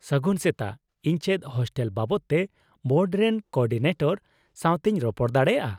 ᱥᱟᱹᱜᱩᱱ ᱥᱮᱛᱟᱜ, ᱤᱧ ᱪᱮᱫ ᱦᱳᱥᱴᱮᱞ ᱵᱟᱵᱚᱛ ᱛᱮ ᱵᱳᱨᱰ ᱨᱮᱱ ᱠᱳᱼᱚᱨᱰᱤᱱᱮᱴᱚᱨ ᱥᱟᱶᱛᱮᱧ ᱨᱚᱯᱚᱲ ᱫᱟᱲᱮᱭᱟᱜᱼᱟ ?